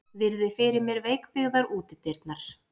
Virði fyrir mér veikbyggðar útidyrnar.